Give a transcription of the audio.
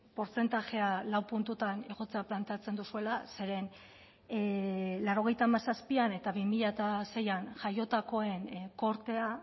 portzentajea lau puntutan igotzea planteatzen duzuela zeren mila bederatziehun eta laurogeita hamazazpian eta bi mila seian jaiotakoen kortea